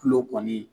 Kulo kɔni